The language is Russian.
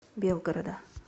белгорода